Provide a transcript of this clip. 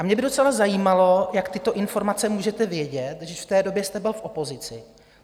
A mě by docela zajímalo, jak tyto informace můžete vědět, když v té době jste byl v opozici?